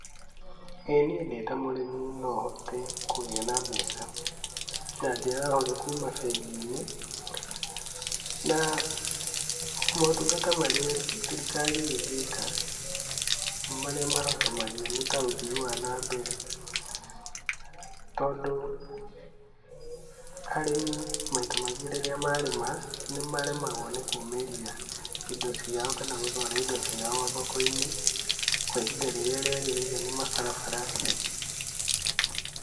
ĩniĩ ndĩta mũrĩmi nohote kũgia na mbeca, na njĩra hũthũ kũma bengi-inĩ na motungata marĩa thirikari ingĩka marĩa mahotomagia nĩ ta ũthii wanambere. Tondũ arĩmi maita maingi rĩrĩa marĩma nĩmaremagwo nĩkũmĩria indo cia kana gũtwara indo ciao thoko-inĩ kwa ihinda rĩrĩa riagirĩire nĩ mabarabara.